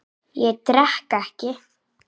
Ég drekk ekki.